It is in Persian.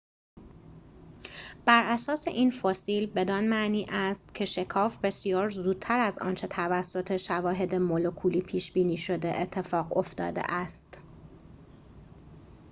براساس این فسیل بدان معنی است که شکاف بسیار زودتر از آنچه توسط شواهد مولکولی پیش‌بینی شده اتفاق افتاده است